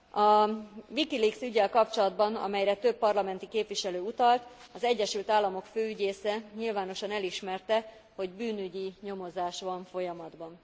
A WikiLeaks üggyel kapcsolatban, amelyre több parlamenti képviselő utalt, az Egyesült Államok főügyésze nyilvánosan elismerte, hogy bűnügyi nyomozás van folyamatban.